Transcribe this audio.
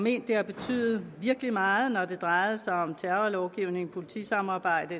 at det har betydet virkelig meget når det drejede sig om terrorlovgivning politisamarbejde